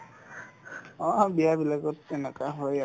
অ, বিয়াবিলাকত সেনেকা হয় আৰু